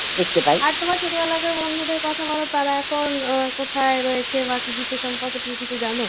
আর তোমার ছোটবেলাকার বন্ধুদের কথা বলো তারা এখন কোথায় রয়েছে? বা কিছু সে সম্পর্কে তুমি কি কিছু জানো?